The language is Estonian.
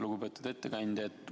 Lugupeetud ettekandja!